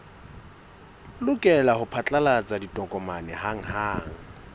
lokela ho phatlalatsa ditokomane hanghang